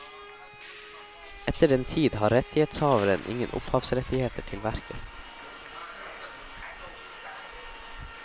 Etter den tid har rettighetshaveren ingen opphavsrettigheter til verket.